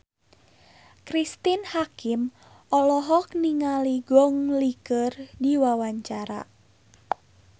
Cristine Hakim olohok ningali Gong Li keur diwawancara